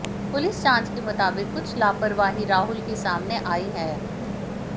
police जांच के मुताबिक कुछ लापरवाही राहुल की सामने आयी है